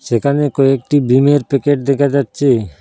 সেখানে কয়েকটি ভিমের প্যাকেট দেখা যাচ্ছে।